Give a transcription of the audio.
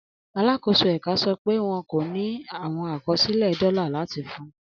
Alakoso ẹka sọ pe wọn ko ni awọn akọsilẹ dola lati fun